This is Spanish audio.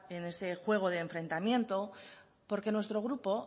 en ese juego de enfrentamiento porque nuestro grupo